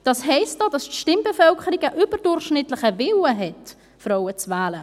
Das heisst auch, dass die Stimmbevölkerung einen überdurchschnittlichen Willen hat, Frauen zu wählen.